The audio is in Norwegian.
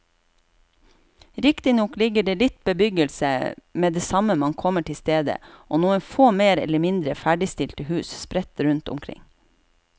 Riktignok ligger det litt bebyggelse med det samme man kommer til stedet og noen få mer eller mindre ferdigstilte hus sprett rundt omkring.